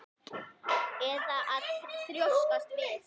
Eða að þrjóskast við?